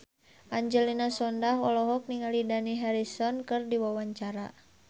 Angelina Sondakh olohok ningali Dani Harrison keur diwawancara